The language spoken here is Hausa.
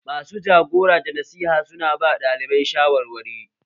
Masu jagora da nasiha su na ba ɗalibai shawarwari